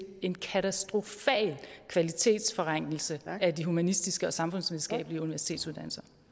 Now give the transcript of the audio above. en katastrofal kvalitetsforringelse af de humanistiske og samfundsvidenskabelige universitetsuddannelser